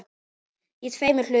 Í tveimur hlutum.